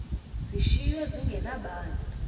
zishiywe zinge nabani